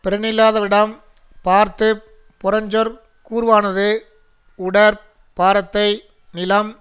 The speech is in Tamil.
பிறனில்லாதவிடம் பார்த்து புறஞ்சொற் கூறுவானது உடற் பாரத்தை நிலம்